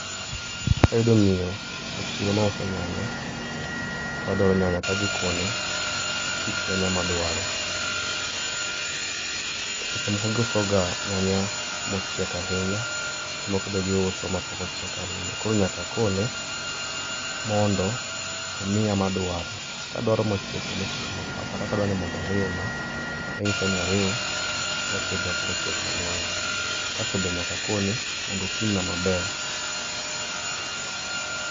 Kayudo miyo, e chiro mauso nyanya, to adwaro nyanya, tadhikone kit nyanya madwaro seche moko giuso ga nyanya mochiek ahinya, seche moko be giuso mapok ochiek ahinya, koro nyaka akone, mondo, omiya madwaro. Kadwaro mochiek to mochiek ema akaw kata kadwani mondo oriwna, tanyise ni oriw mochiek gi mapok ochiek malong'o, kasto be nyaka akone mondo opimna maber